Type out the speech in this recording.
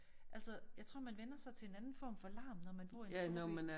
Altså jeg tror man vænner sig til en anden form for larm når man bor i en storby